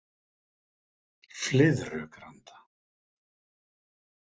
Flyðrugranda